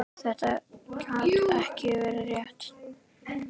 Þetta gat ekki verið rétt.